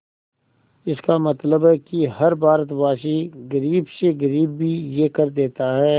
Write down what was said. इसका मतलब है कि हर भारतवासी गरीब से गरीब भी यह कर देता है